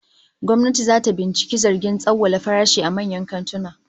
Gwamnati zata binciki zargin tsawwala farashi a manyan kantuna